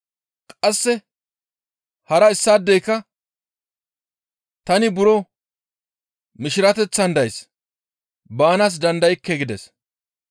«Qasse hara issaadeyka, ‹Tani buro mishirateththan days; baanaas dandaykke› gides.